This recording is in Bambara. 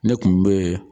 Ne kun be